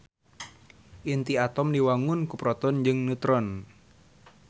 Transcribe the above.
Inti atom diwangun ku proton jeung neutron.